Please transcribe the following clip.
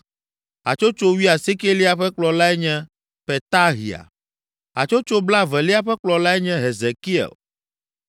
Hatsotso wuiasiekelia ƒe kplɔlae nye Petahia. Hatsotso blaevelia ƒe kplɔlae nye Hezekiel.